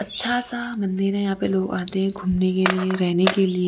अच्छा सा मंदिर है यहां पे लोग आते है घूमने के लिए रहने के लिए--